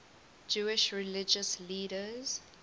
jewish religious leaders